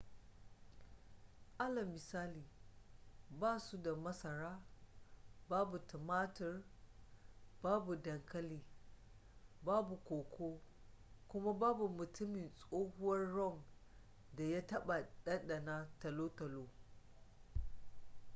alal misali ba su da masara babu tumatur babu dankali babu koko kuma babu mutumin tsohuwar rum da ya taɓa ɗanɗana talotalo